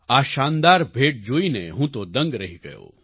આ શાનદાર ભેટ જોઈને હું તો દંગ રહી ગયો